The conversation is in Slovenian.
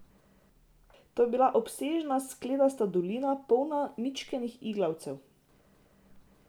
To je bila obsežna skledasta dolina, polna mičkenih iglavcev.